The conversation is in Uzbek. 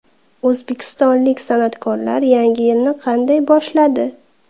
O‘zbekistonlik san’atkorlar yangi yilni qanday boshladi?